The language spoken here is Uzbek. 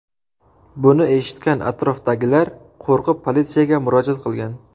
Buni eshitgan atrofdagilar qo‘rqib politsiyaga murojaat qilgan.